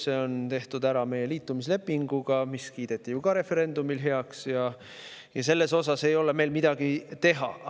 See tehti ära liitumislepinguga, mis kiideti referendumil heaks, ja selles osas ei ole meil midagi teha.